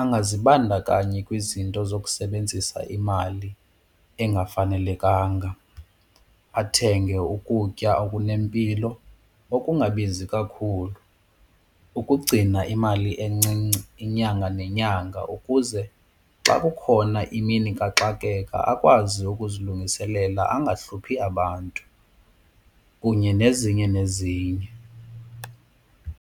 Angazibandakanyi kwizinto zokusebenzisa imali engafanelekanga, athenge ukutya okunempilo okungabizi kakhulu ukugcina imali encinci inyanga nenyanga ukuze xa kukhona imini kaxakeka akwazi ukuzilungiselela angahluphi abantu kunye nezinye nezinye.